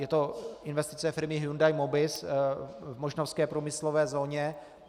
Je to investice firmy Hyundai Mobis v mošnovské průmyslové zóně.